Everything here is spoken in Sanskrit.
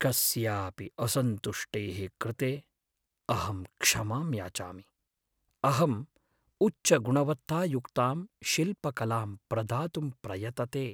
कस्यापि असन्तुष्टेः कृते अहं क्षमां याचामि, अहं उच्चगुणवत्तायुक्तां शिल्पकलां प्रदातुं प्रयतते।